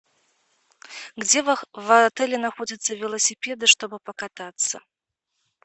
где в отеле находятся велосипеды чтобы покататься